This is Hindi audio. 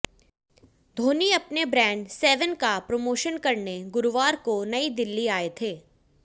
धोनी अपने ब्रांड सेवेन का प्रमोशन करने गुरुवार को नई दिल्ली आये थे